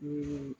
Ni